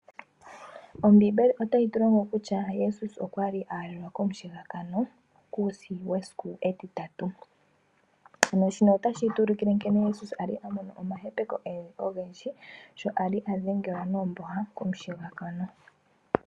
Ombibeli otayi tulongo kutya jesus okwali aalelwa komushigakano kuusi wesiku etitatu, notashitu ulukile nkene jesus ali amono omahepeko ogendji sho ali adhengelwa noomboha komushigakano.